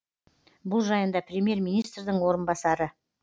бұл жайында премьер министрдің орынбасары